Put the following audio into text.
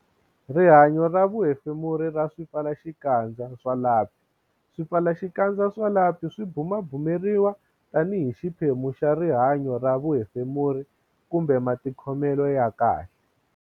Rihanyo ra vuhefemuri ra swipfalaxikandza swa lapi Swipfalaxikandza swa lapi swi bumabumeriwa tanihi xiphemu xa rihan-yo ra vuhefemuri kumbe matikhomelo ya kahle